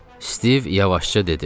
Stiv yavaşca dedi.